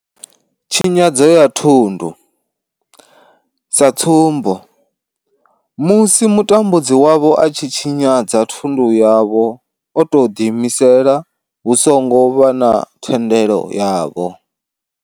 Tshinyadzo ya thundu, sa tsumbo, musi mutambudzi wavho a tshi tshinyadza thundu yavho o tou ḓiimisela hu songo vha na thendelo yavho.